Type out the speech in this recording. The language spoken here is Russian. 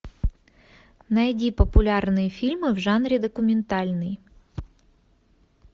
найди популярные фильмы в жанре документальный